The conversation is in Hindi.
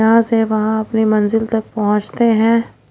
यहां से वहां अपनी मंजिल तक पहुंचते हैं।